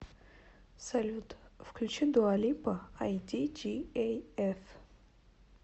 салют включи дуа липа айдиджиэйэф